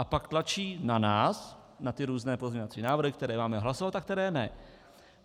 A pak tlačí na nás, na ty různé pozměňovací návrhy, které máme hlasovat a které ne.